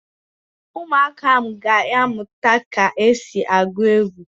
Ụmụaka ahụ ga-amụta ka e si agụ egwu